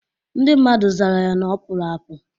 Ndị mmadụ zara ya na ọ pụrụ apụ